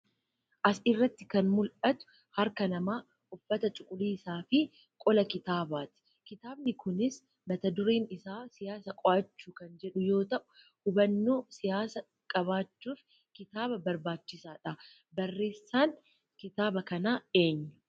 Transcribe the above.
As irratti kan mul'atu harkaa namaa, uffata cuquliisaa fi qola kitaabaa ti. Kitaabni kunis mata-dureen isaa 'Siyaasa Qo'achuu' kan jedhu yoo ta'u, hubannoo siyaasaa qabaachuuf kitaaba barbaachisaa dha. Barreessaan kitaaba kanaa eenyu?